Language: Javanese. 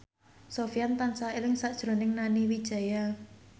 Sofyan tansah eling sakjroning Nani Wijaya